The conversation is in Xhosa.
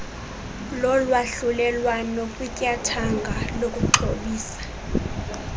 lolwahlulelwano kwityathanga lokuxhobisa